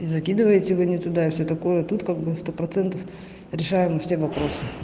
и закидываете вы не туда и все такое тут как бы сто процентов решаем все вопросы